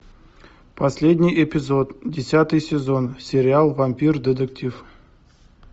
последний эпизод десятый сезон сериал вампир детектив